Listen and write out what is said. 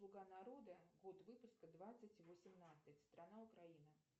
слуга народа год выпуска двадцать восемнадцать страна украина